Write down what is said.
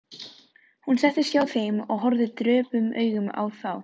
Hún settist hjá þeim og horfði döprum augum á þá.